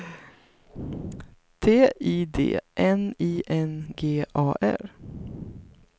T I D N I N G A R